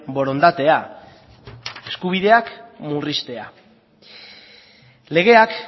borondatea eskubideak murriztea legeak